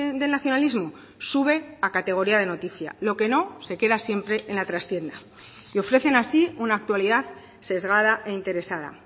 del nacionalismo sube a categoría de noticia lo que no se queda siempre en la trastienda y ofrecen así una actualidad sesgada e interesada